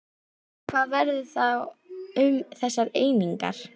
En hvað verður þá um þessar einingar?